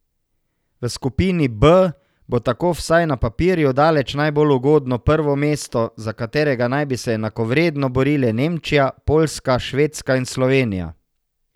V skupini B bo tako vsaj na papirju daleč najbolj ugodno prvo mesto, za katerega naj bi se enakovredno borile Nemčija, Poljska, Švedska in Slovenija.